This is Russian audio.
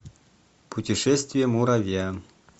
путешествие муравья